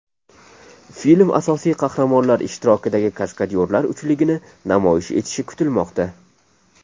Film asosiy qahramonlar ishtirokidagi kaskadyorlar uchligini namoyish etishi kutilmoqda.